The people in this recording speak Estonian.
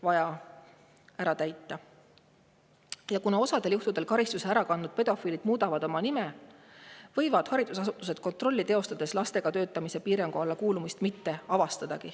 Kuna osal juhtudel muudavad karistuse ära kandnud pedofiilid oma nime, haridusasutused kontrollides lastega töötamise piirangu alla kuulumist avastada.